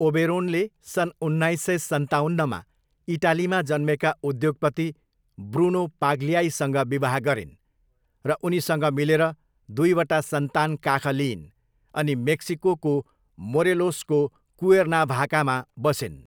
ओबेरोनले सन् उन्नाइस सय सन्ताउन्नमा इटालीमा जन्मेका उद्योगपति ब्रुनो पाग्लियाईसँग विवाह गरिन् र उनीसँग मिलेर दुईवटा सन्तान काख लिइन् अनि मेक्सिकोको मोरेलोसको कुएर्नाभाकामा बसिन्।